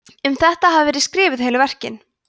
um þetta hafa verið skrifuð heilu verkin